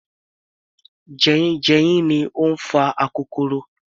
Jeyínjeyín ni ó ń fa akokoro